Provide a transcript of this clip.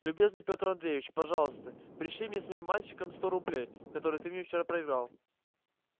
любезный пётр андреевич пожалуйста пришли мне с моим мальчиком сто рублей которые ты мне вчера проиграл